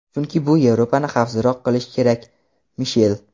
chunki bu Yevropani xavfsizroq qilishi kerak – Mishel.